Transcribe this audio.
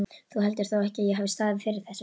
Þú heldur þó ekki, að ég hafi staðið fyrir þessu?